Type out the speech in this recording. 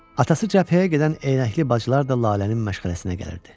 Atası cəbhəyə gedən eynəkli bacılar da Lalənin məşğələsinə gəlirdi.